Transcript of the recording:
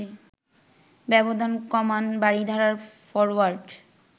ব্যবধান কমান বারিধারার ফরোয়ার্ড